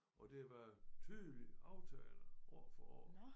Og det har været tydeligt aftagende år for år